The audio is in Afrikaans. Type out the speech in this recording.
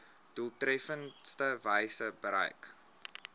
doeltreffendste wyse bereik